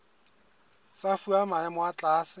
tsa fuwa maemo a tlase